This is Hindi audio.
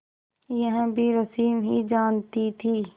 यह भी रश्मि ही जानती थी